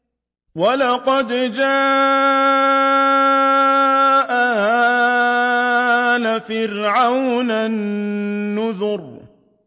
وَلَقَدْ جَاءَ آلَ فِرْعَوْنَ النُّذُرُ